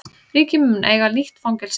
Ríkið mun eiga nýtt fangelsi